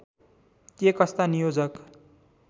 के कस्ता नियोजक